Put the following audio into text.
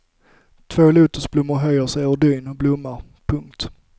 Två lotusblommor höjer sig ur dyn och blommar. punkt